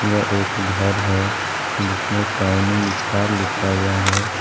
यह एक घर है जिसमें शाइनिंग स्टार लिखा हुआ है।